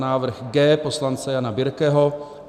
Návrh G poslance Jana Birkeho.